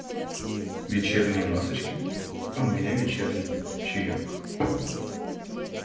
вечерние масочки а у меня вечерний чаёк